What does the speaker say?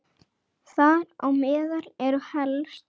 Þar á meðal eru helst